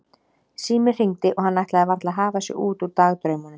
Síminn hringdi og hann ætlaði varla að hafa sig út úr dagdraumunum.